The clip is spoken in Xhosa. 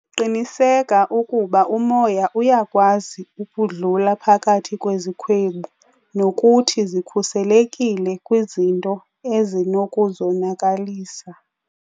Qiniseka ukuba umoya uyakwazi ukudlula phakathi kwezikhwebu nokuthi zikhuselekile kwizinto ezinokuzonakalisa.